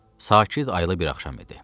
Sakit, aylı bir axşam idi.